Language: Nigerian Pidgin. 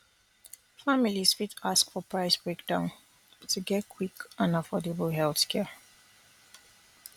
families fit ask for price breakdown to get quick and affordable healthcare